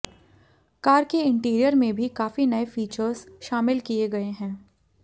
car के interior में भी काफी नए फीचर्स शामिल किए गए हैं